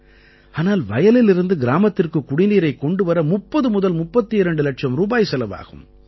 ஆனால் வயலிலிருந்து கிராமத்திற்குக் குடிநீரைக் கொண்டு வர 3032 இலட்சம் ரூபாய் செலவாகும்